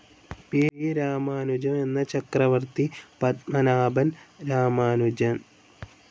P. Ramanujam എന്ന ചക്രവർത്തി പത്മനാഭൻ രാമാനുജം.